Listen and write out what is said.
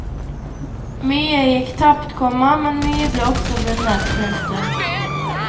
Mye gikk tapt, komma men mye ble også vunnet. punktum